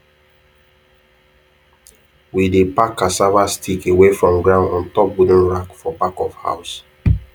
we dey pack cassava stick away from ground on top wooden rack for back of house